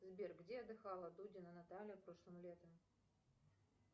сбер где отдыхала дудина наталья прошлым летом